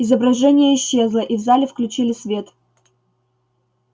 изображение исчезло и в зале включили свет